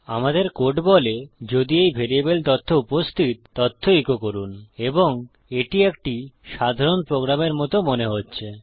আমাদের কোড বলে যদি এই ভ্যারিয়েবল তথ্য উপস্থিত তথ্য ইকো করুন এবং এটি একটি সাধারণ প্রোগ্রামের মত মনে হচ্ছে